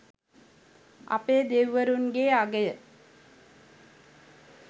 අපේ දෙවිවරුන්ගේ අගය